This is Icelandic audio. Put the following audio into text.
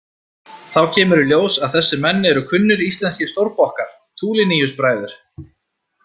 Þá kemur í ljós að þessir menn eru kunnir íslenskir stórbokkar, Tuliniusbræður.